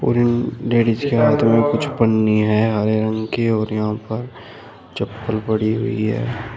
उम् ladies के हाथ में कुछ पन्नी है हरे रंग की और यहां पर चप्पल पड़ी हुई है।